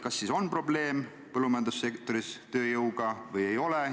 Kas siis on põllumajandussektoris tööjõuga probleem või ei ole?